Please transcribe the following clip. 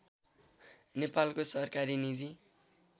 नेपालको सरकारी निजी